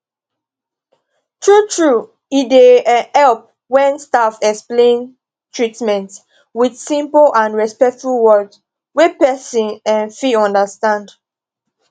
truetrue e dey um help when staff explain treatment with simple and respectful words wey person um fit understand